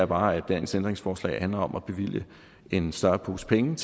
bare at dagens ændringsforslag handler om at bevilge en større pose penge